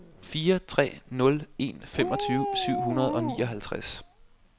fire tre nul en femogtyve syv hundrede og nioghalvtreds